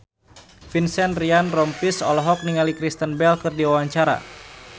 Vincent Ryan Rompies olohok ningali Kristen Bell keur diwawancara